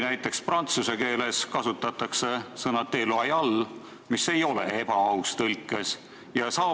Näiteks prantsuse keeles kasutatakse siin sõna déloyal, mis ei ole tõlkes "ebaaus".